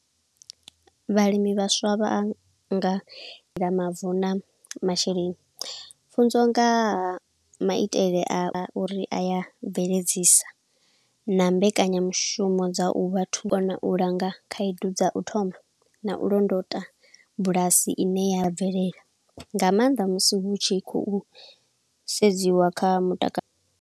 Vhalimi vhaswa vha nga mavu na masheleni. Pfunzo nga ha maitele a uri aya bveledzisa, na mbekanyamushumo dza u vha thungo na u langa khaedu dza u thoma, na u londota bulasi ine ya bvelela, nga maanḓa musi hu tshi khou sedziwa kha mutakalo.